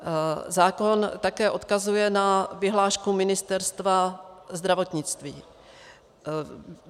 Zákon také odkazuje na vyhlášku Ministerstva zdravotnictví.